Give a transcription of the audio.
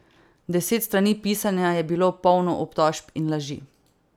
Deset strani pisanja je bilo polno obtožb in laži.